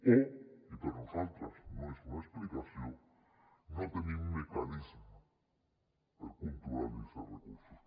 o i per nosaltres no és una explicació no tenim mecanismes per controlar los els recursos